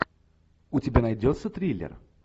у тебя найдется триллер